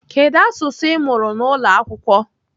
Kedu asụsụ Ị mụrụ n'ụlọ akwụkwọ?